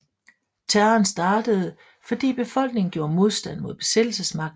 Terroren startede fordi befolkningen gjorde modstand mod besættelsesmagten